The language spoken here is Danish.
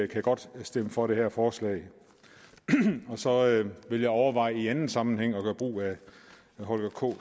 kan godt stemme for det her forslag så vil jeg overveje i anden sammenhæng at gøre brug af holger k